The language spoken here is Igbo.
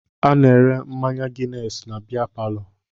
A na-ere mmanya ginesi na bea palọ